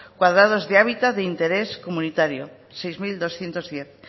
cuadrados de interés comunitario seis mil doscientos diez